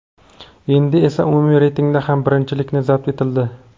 Endi esa umumiy reytingda ham birinchilik zabt etildi.